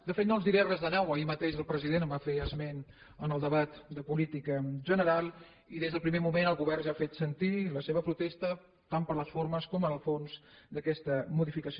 de fet no els diré res de nou ahir mateix el president en va fer esment en el debat de política general i des del primer moment el govern ja ha fet sentir la seva protesta tant per les formes com pel fons d’aquesta modificació